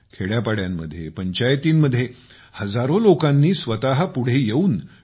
खेड्यापाड्यांमध्ये पंचायती मध्ये हजारो लोकांनी स्वतः पुढे येऊन टी